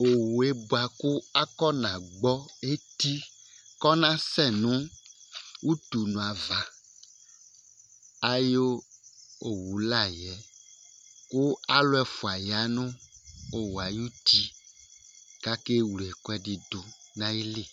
Owu ye kʋ afɔna gbɔ eti kɔnasɛ nʋ ʋtʋnʋ ava ayʋ owʋ la yɛ kʋ alu ɛfʋa ya nʋ owu ye ayʋ ʋti kʋ akewle ɛkʋɛdi di nʋ ayìlí